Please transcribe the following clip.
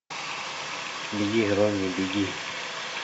беги ронни беги